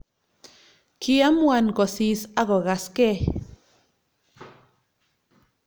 kiamuan ko sis akokaskei